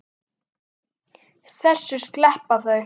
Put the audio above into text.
Þessu sleppa þau öllu.